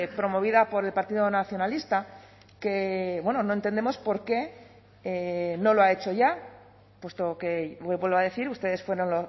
promovida por el partido nacionalista que no entendemos por qué no lo ha hecho ya puesto que vuelvo a decir ustedes fueron